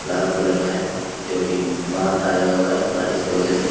लाल colour में है क्योंकि बांध आया हुआ है बारिश के वजह से।